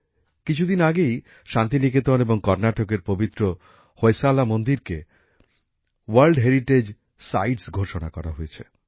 কিছুদিন আগেই শান্তিনিকেতন এবং কর্নাটকের পবিত্র হোয়শালা মন্দিরকে বিশ্বের ঐতিহ্যশালী স্থান হিসেবে ঘোষণা করা হয়েছে